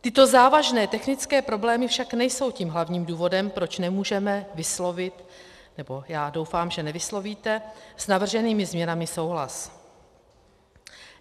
Tyto závažné technické problémy však nejsou tím hlavním důvodem, proč nemůžeme vyslovit, nebo já doufám, že nevyslovíte, s navrženými změnami souhlas.